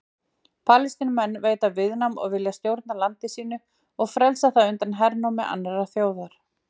Palestínumenn veita viðnám og vilja stjórna landi sínu og frelsa það undan hernámi annarrar þjóðar.